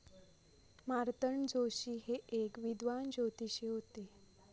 मार्तंड जोशी हे एक विद्वान ज्योतिषी होते.